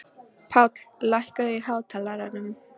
Páll, lækkaðu í hátalaranum.